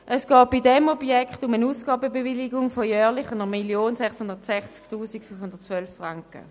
Es geht bei diesem Objekt um eine Ausgabenbewilligung von jährlich 1 660 512 Franken.